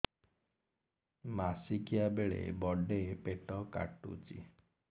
ମାସିକିଆ ବେଳେ ବଡେ ପେଟ କାଟୁଚି